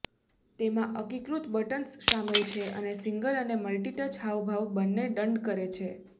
તેમાં એકીકૃત બટન્સ શામેલ છે અને સિંગલ અને મલ્ટીટચ હાવભાવ બંને દંડ કરે છે